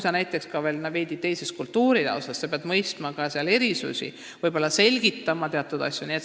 Ja kui sul on veel näiteks veidi teine kultuuritaust, siis sa pead ka sealseid erisusi mõistma, võib-olla teatud asju selgitama.